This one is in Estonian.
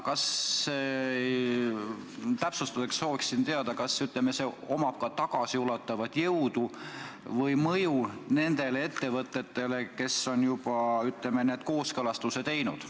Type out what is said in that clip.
Aga täpsustuseks sooviksin teada, kas see omab ka tagasiulatuvat jõudu või mõju nendele ettevõtetele, kes on need kooskõlastused juba teinud.